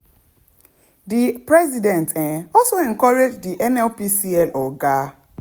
di president um also encourage di nnpcl oga